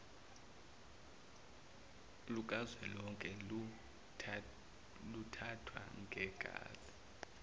lukazwelonke lokuthathwa kwegazi